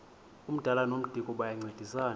umdala nomdikoni bayancedisana